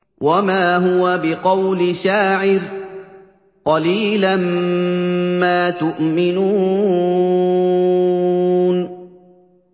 وَمَا هُوَ بِقَوْلِ شَاعِرٍ ۚ قَلِيلًا مَّا تُؤْمِنُونَ